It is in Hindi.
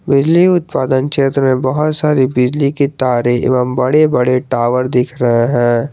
बिजली उत्पादन क्षेत्र में बहुत सारी बिजली के तारे एवं बड़े बड़े टावर दिख रहे हैं।